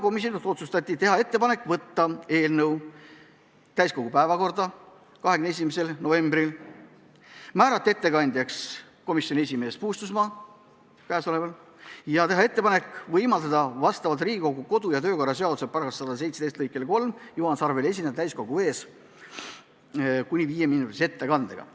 Komisjon otsustas teha ettepaneku võtta eelnõu täiskogu 21. novembri istungi päevakorda, määrata ettekandjaks komisjoni esimees Puustusmaa ja teha ettepanek võimaldada vastavalt Riigikogu kodu- ja töökorra seaduse § 117 lõikele 3 Juhan Sarvel esineda täiskogu ees kuni viieminutise ettekandega.